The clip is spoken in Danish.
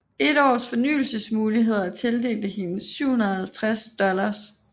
Et års fornyelsesmuligheder tildelte hende 750 dollars